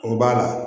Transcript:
O b'a la